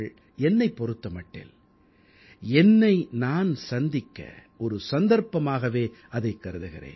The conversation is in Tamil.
என்னைப் பொறுத்த மட்டில் என்னை நான் சந்திக்க ஒரு சந்தர்ப்பமாகவே அதைக் கருதுகிறேன்